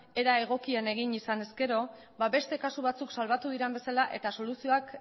era egokian egin izan ezkero ba beste kasu batzuk salbatu diren bezala eta soluzioak